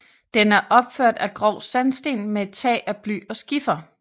Den er opført af grov sandsten med et tag af bly og skifer